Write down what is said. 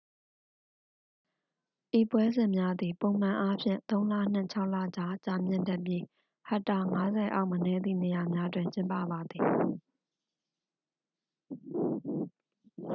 ဤပွဲစဉ်များသည် ပုံမှန်အားဖြင့် သုံး လနှင့် ခြောက် လကြား ကြာမြင့်တတ်ပြီး ဟက်တာ 50 အောက် မနည်းသည့် နေရာများတွင် ကျင်းပပါသည်